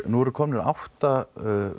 nú eru komnir átta